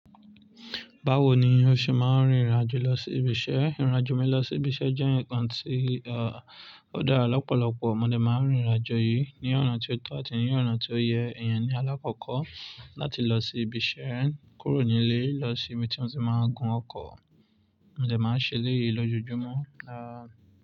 Báwo ni o ṣe máa ń rìn ìrìnàjò lọ sí ibi iṣẹ́? Ìrìnàjò mi lọ sí ibi iṣẹ́ jẹ́ ǹkan tí, à, ó dára lọ́pọ̀lọpọ̀. Ọ̀mọdé máa ń rin ìrìnàjò yìí ní ọ̀nà tí ó tọ́ àti ní ọ̀nà tí ó yẹ. Iyen ní alákọ̀ọ́kọ́ láti lọ sí ibi iṣẹ́ rẹ̀ kúrò nílé, lọ sí ibi tí wọ́n ti máa ń gun ọkọ̀. Ọ̀mọdé máa ń ṣe léyìí lójoojúmọ́.